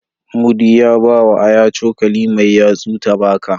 Mudi ya bawa Aya cokali mai yatsu ta baka.